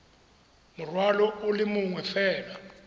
morwalo o le mongwe fela